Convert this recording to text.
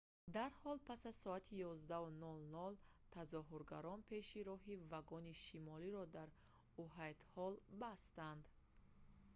дарҳол пас аз соати 11:00 тазоҳургарон пеши роҳи вагони шимолиро дар уайтҳолл бастанд